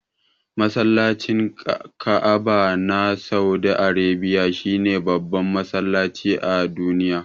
Masallacin Ka'aba na saudi Arabiya shine babban masallaci a duniya.